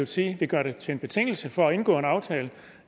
side vil gøre det til en betingelse for at indgå en aftale